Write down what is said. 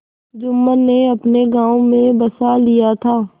जुम्मन ने अपने गाँव में बसा लिया था